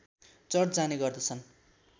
church जाने गर्दछन्